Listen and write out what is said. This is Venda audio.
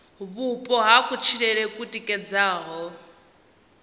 vhupo ha kutshilele ku tikedzaho